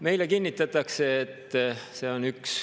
Meile kinnitatakse, et see on üks …